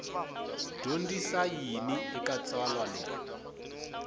dyondzisa yini eka tsalwa leri